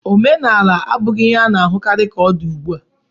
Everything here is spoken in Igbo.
Omenaala abụghị ihe a na-ahụkarị ka ọ dị ugbu a.